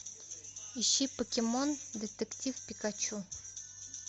ищи покемон детектив пикачу